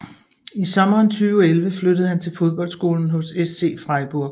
I sommeren 2011 flyttede han til fodboldskolen hos SC Freiburg